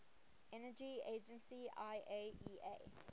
energy agency iaea